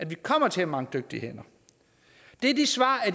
vi kommer til at mangle dygtige hænder det er de svar